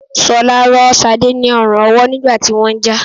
Ṣọlá rọ́ Ṣadé ni ọrùn ọwọ́ nígbà tí wọ́n ń jà